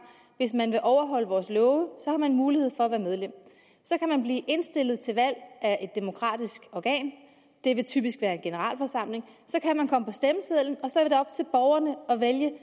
hvis man vil overholde vores love så har man mulighed for at være medlem så kan man blive indstillet til valg af demokratisk organ det vil typisk være en generalforsamling så kan man komme på stemmesedlen og så er det op til borgerne at vælge